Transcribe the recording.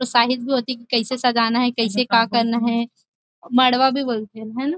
और साहिद कैसे सजाना हे कैसे का करना हे मड़वा भी बोलथे एला है न --